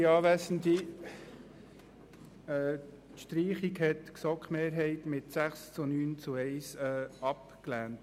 Die Streichung wurde durch die GSoK mit 6 Ja- zu 9 Nein-Stimmen bei 1 Enthaltung abgelehnt.